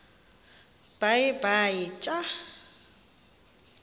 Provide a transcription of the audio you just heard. baye bee tyaa